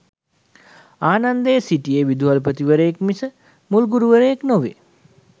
ආනන්දේ සිටියේ විදුහල්පතිවරයෙක් මිස මුල් ගුරුවරයෙක් නොවේ.